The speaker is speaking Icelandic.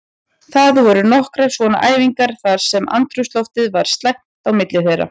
Það voru nokkrar svona æfingar þar sem andrúmsloftið var slæmt á milli þeirra.